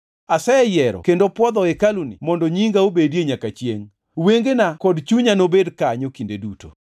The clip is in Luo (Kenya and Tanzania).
Aseyiero kendo pwodho hekaluni mondo nyinga obedie nyaka chiengʼ, wengena kod chunya nobed kanyo kinde duto.